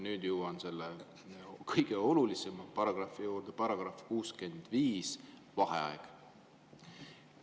Nüüd jõuan selle kõige olulisema paragrahvi juurde –§ 65 "Vaheaeg".